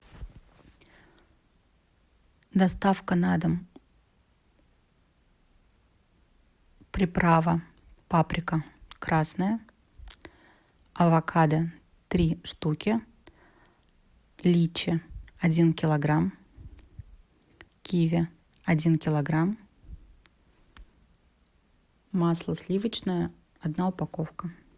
доставка на дом приправа паприка красная авокадо три штуки личи один килограмм киви один килограмм масло сливочное одна упаковка